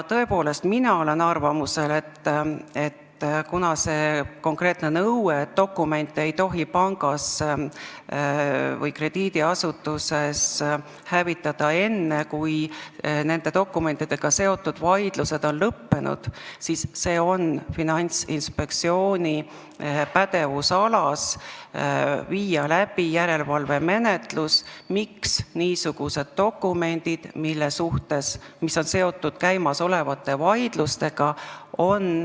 Tõepoolest, mina olen arvamusel, et kuna on konkreetne nõue, et dokumente ei tohi pangas või krediidiasutuses hävitada enne, kui nende dokumentidega seotud vaidlused on lõppenud, siis on Finantsinspektsiooni pädevusalas viia läbi järelevalvemenetlus, miks on hävitatud niisugused dokumendid, mis on seotud käimasolevate vaidlustega.